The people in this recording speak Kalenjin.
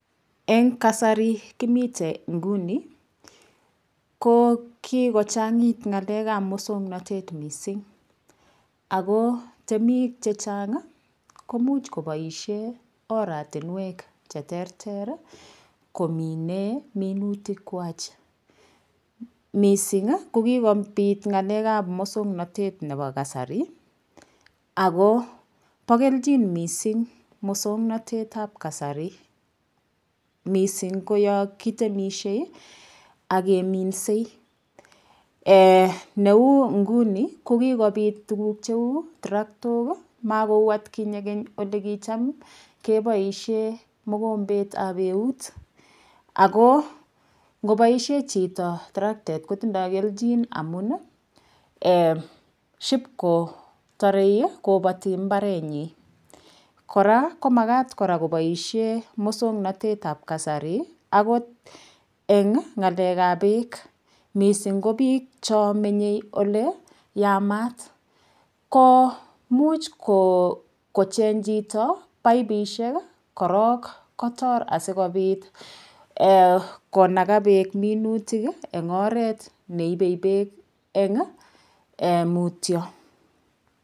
Eng' kasari kemiten nguni ko kigochang'it ng'alek ab muswong'natet mising' ako temik chechang' komuch kopaishe oratinwek cheterter komine minutik kwach mising' ko kigopit ng'alek ab muswong'natet nepo kasari ago po keljin mising' muswong'natet ab kasari mising' ko yokitemishe ageminse neu nguni kokigopit tuguk cheu traktok makou atkinye keny ole kicham kepoishe mogombet ab eut ako ngopaishe chito traktet kotindoy keljin amun ship kotore kopati imbaretnyin koraa komakat koraa kopaishe muswong'natet ab kasari akot eng' ng'alek ab peek mising' ko piik chomenye ole yamat ko much kocheng' chito paipisiek korok kotor asikopit konaga peek minutik eng' oret neipe peek eng' mutyo.